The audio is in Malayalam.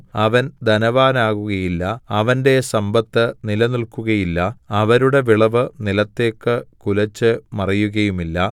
അവൻ ധനവാനാകുകയില്ല അവന്റെ സമ്പത്ത് നിലനില്‍ക്കുകയില്ല അവരുടെ വിളവ് നിലത്തേക്കു കുലച്ചു മറികയുമില്ല